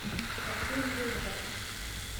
хочу звезда